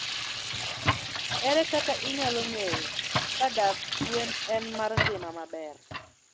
Ere kaka inyalo ng'eyo kadak gwen en mar ngima maber?